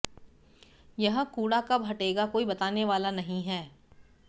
यह कूड़ा कब हटेगा कोई बताने वाला नहीं है